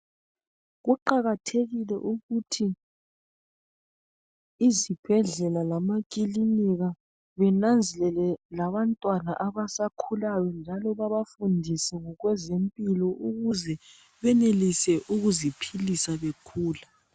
Kuqakathekile ukuthi izibhedlela lamaclinika benanzelele abantwana abasakhulayo njalo bebafundise ngokwezempilo ukuze benelise ukuziphisa bekhule